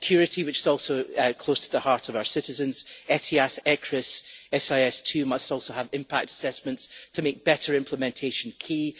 On security, which is also close to the hearts of our citizens, ETIAS, ECRIS and SIS II must also have impact assessments to make better implementation key.